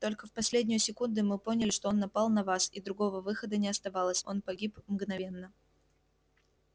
только в последнюю секунду мы поняли что он напал на вас и другого выхода не оставалось он погиб мгновенно